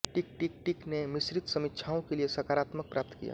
टिक टिक टिक ने मिश्रित समीक्षाओं के लिए सकारात्मक प्राप्त किया